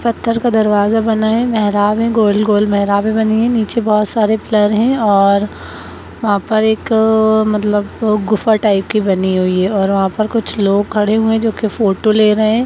पत्थर का दरवाजा बना है मेहराब है गोल-गोल मेहराबे बनी है नीचे बहुत सारे पीलर है और वहाँ पर एक मतलब गुफा टाइप के बनी हुई है और वहाँ पर कुछ लोग खड़े हुए जो की फोटो ले रहे हैं।